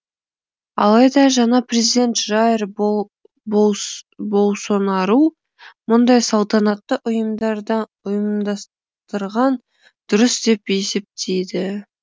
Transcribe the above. алайда жаңа президент жаир болсонару мұндай салтанатты ұйымдастырған дұрыс деп есептейді